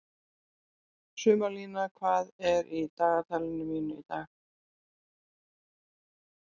Sumarlína, hvað er í dagatalinu mínu í dag?